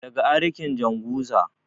daga arikin janguza